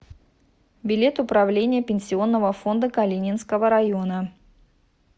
билет управление пенсионного фонда калининского района